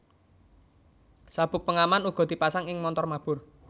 Sabuk pengaman uga dipasang ing montor mabur